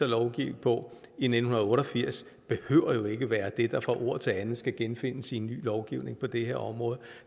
lovgive på i nitten otte og firs behøver jo ikke at være det der fra ord til anden skal genfindes i en ny lovgivning på det her område